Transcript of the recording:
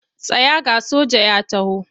Tsaya ga soja ya taho!